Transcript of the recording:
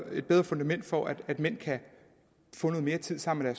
fundament for at mænd kan få noget mere tid sammen med